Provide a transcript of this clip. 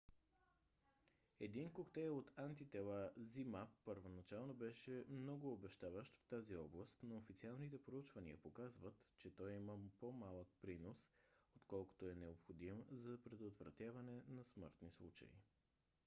един коктейл от антитела zmapp първоначално беше много обещаващ в тази област но официалните проучвания показват че той има по-малък принос отколкото е необходим за предотвратяване на смъртни случаи